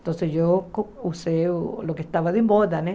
Então, eu usei o que estava de moda, né?